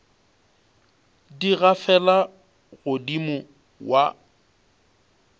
di gafela go modimo wa